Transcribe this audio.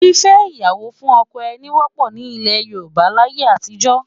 Fífẹ́ ìyàwó fún ọkọ ẹni wọ́pọ̀ ní ilẹ̀ Yorùbá láyé àtijọ́